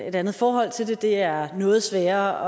et andet forhold til det det er noget sværere